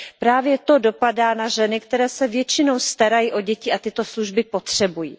Právě to dopadá na ženy, které se většinou starají o děti a tyto služby potřebují.